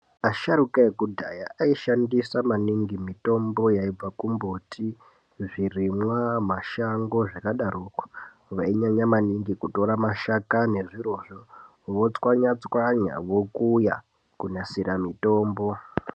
Asharuka ekudhaya aishandisa maningi mitombo yaibva kumimbuti, zvirimwa, mashango zvakadaroko. Vainyanya maningi kutora mashakani nezvirozvo vochwanyachwanya vokuya kunasire mitombo.